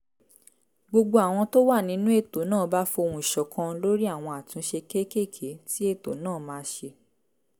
gbogbo àwọn tó wà nínú ètò náà bá fohùn ṣọ̀kan lórí àwọn àtúnṣe kéékèèké tí ètò náà máa ṣe